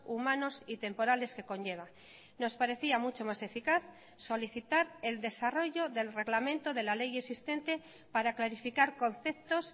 humanos y temporales que conlleva nos parecía mucho más eficaz solicitar el desarrollo del reglamento de la ley existente para clarificar conceptos